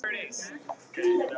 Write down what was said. Snorri Valur.